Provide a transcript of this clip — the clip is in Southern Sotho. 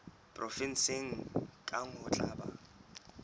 provenseng kang ho tla ba